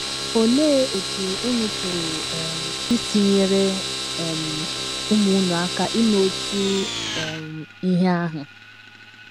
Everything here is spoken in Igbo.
Olee otú unu pụrụ um isi nyere um ụmụ unu aka ime otu um ihe ahụ?